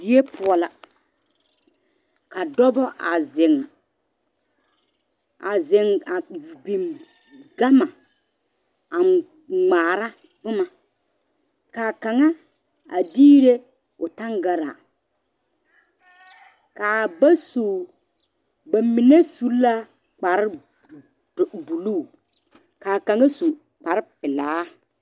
Die poɔ la a zeŋ a biŋ gama a ŋmaare boma kaa kaŋa a diire o tangaare kaa ba su ba mine su la kpare dɔ dolu kaa kaŋa su kpare pelaa.